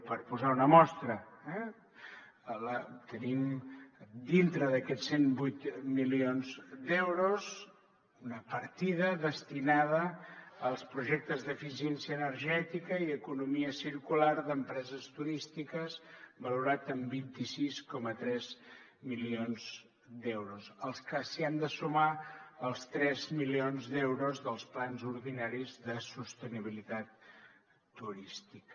per posar una mostra tenim dintre d’aquests cent i vuit milions d’euros una partida destinada als projectes d’eficiència energètica i economia circular d’empreses turístiques valorat en vint sis coma tres milions d’euros als que s’hi han de sumar els tres milions d’euros dels plans ordinaris de sostenibilitat turística